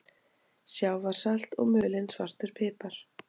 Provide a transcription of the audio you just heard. Sjávarsalt og mulinn svartur pipar